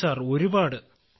അതെ സർ ഒരുപാട്